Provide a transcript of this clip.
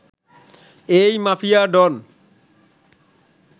এই মাফিয়া ডন